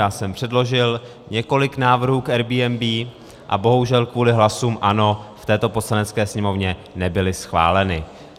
Já jsem předložil několik návrhů k Airbnb a bohužel kvůli hlasům ANO v této Poslanecké sněmovně nebyly schváleny.